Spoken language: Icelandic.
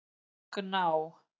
Gná